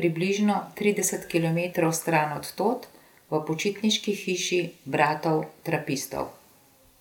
približno trideset kilometrov stran od tod, v počitniški hiši bratov trapistov.